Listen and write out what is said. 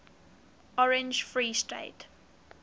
orange free state